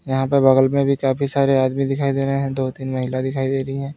यहां पर बगल में भी काफी सारे आदमी दिखाई दे रहे हैं दो तीन महिला दिखाई दे रही हैं।